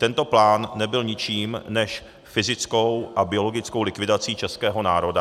Tento plán nebyl ničím než fyzickou a biologickou likvidací českého národa.